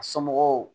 A somɔgɔw